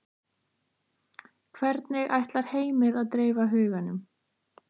Hvernig ætlar Heimir að dreifa huganum?